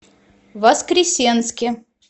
воскресенске